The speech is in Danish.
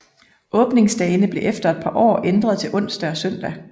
Åbningsdagene blev efter et par år ændret til onsdag og søndag